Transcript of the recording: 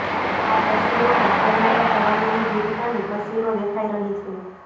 આ તસ્વીરોમાં સેનાના જવાનોની વિરતાની તસ્વીરો દેખાઈ રહી છે